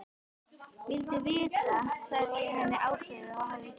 Vildi vita, segi ég henni ákveðið, hvað hafði gerst.